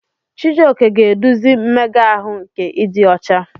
Chijioke ga-eduzi mmega ahụ nke ịdị ọcha.